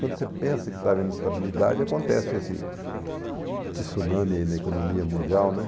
Quando você pensa que está havendo estabilidade, acontece esse tsunami na economia mundial, né?